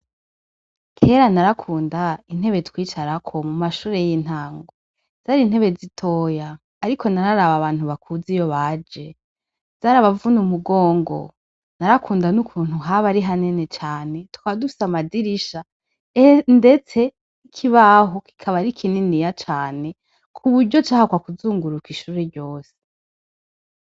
Kera narakunda intebe twicarako mumashure yintango zarintebe zitoya ariko nararaba abantu bakuze iyo baje zarabavuna umugongo narakunda nukuntu haba ari hanini cane tukaba dufise amadirisha ndetse ikibaho kikaba ari kinini cane kuburyo cahakwa kuzunguruka ishure ryose